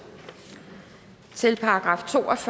til §